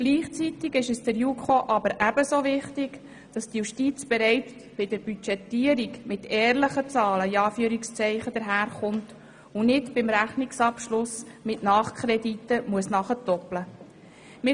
Gleichzeitig ist es der JuKo ebenso wichtig, dass die Justiz bereits bei der Budgetierung mit «ehrlichen» Zahlen antritt und nicht beim Rechnungsabschluss mit Nachkrediten aufwarten muss.